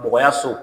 Dɔgɔya so